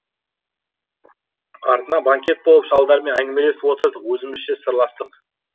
артынан банкет болып шалдармен әңгімелесіп отырдық өзімізше сырластық